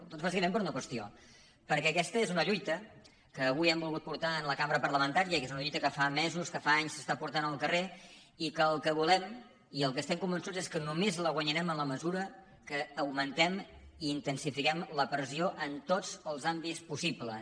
doncs bàsicament per una qüestió perquè aquesta és una lluita que avui han volgut portar a la cambra parlamentària que és una lluita que fa mesos que fa anys s’està portant al car·rer i que el que volem i del que estem convençuts és que només la guanyarem en la mesura que augmentem i intensifiquem la pressió en tots els àmbits possibles